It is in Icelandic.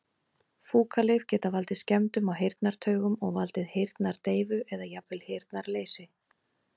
Fúkalyf geta valdið skemmdum á heyrnartaugum og valdið heyrnardeyfu eða jafnvel heyrnarleysi.